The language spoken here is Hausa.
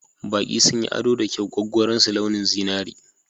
Baƙi sun yi ado da kyau gwaggwaron su launin zinari.